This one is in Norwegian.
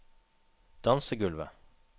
dansegulvet